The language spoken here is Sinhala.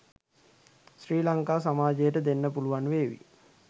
ශ්‍රී ලංකා සමාජයට දෙන්න පුළුවන් වේවි